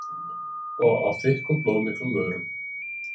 Og á þykkum blóðmiklum vörunum.